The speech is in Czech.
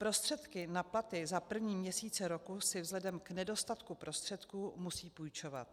Prostředky na platy za první měsíce roku si vzhledem k nedostatku prostředků musí půjčovat.